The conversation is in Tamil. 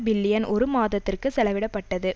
பில்லியன் ஒரு மாதத்திற்கு செலவிடப்பட்டது